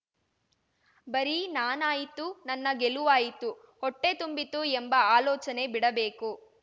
ಬರೀ ನಾನಾಯಿತು ನನ್ನ ಗೆಲುವಾಯಿತು ಹೊಟ್ಟೆತುಂಬಿತು ಎಂಬ ಆಲೋಚನೆ ಬಿಡಬೇಕು